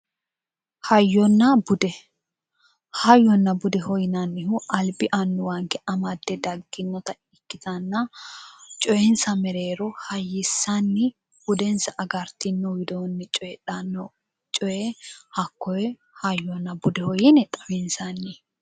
Hayyona bude hayyonna budeho yinannihu albi annuwanke amadde dagginota ikkitanna coyiinsa mereero hayyissanni budensa agartino widoonni coyiidhanno coye hakkoye hayyona budeho yine xawinsanni.